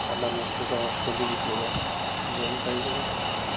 она мне сказала что любит меня но я не поверил